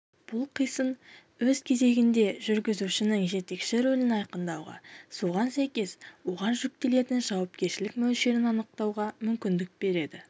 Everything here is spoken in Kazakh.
бұл қисын өз кезегінде жүргізушінің жетекші рөлін айқындауға соған сәйкес оған жүктелетін жауапкершілік мөлшерін анықтауға мүмкіндік береді